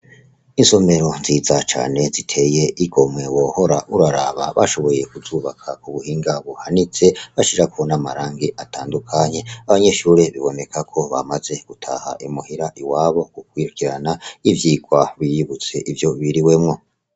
Isomero nziza cane ziteye igomwe wohora uraraba bashoboye kuzubaka mu buhinga buhanitse bashirako n' amarangi atandukanye abanyeshure biboneka ko bamaze gutaha imuhira iwabo gukurikirana ivyigwa biyibutse ivyo biriwemwo.